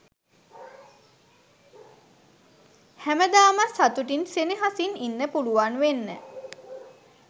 හැමදාමත් සතුටින් සෙනෙහසින් ඉන්න පුළුවන් වෙන්න